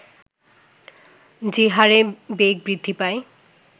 যে হারে বেগ বৃদ্ধি পায়